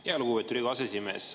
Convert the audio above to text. Tänan, lugupeetud aseesimees!